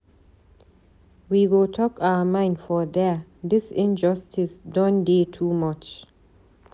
We go talk our mind for there, dis injustice don dey too much.